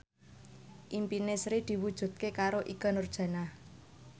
impine Sri diwujudke karo Ikke Nurjanah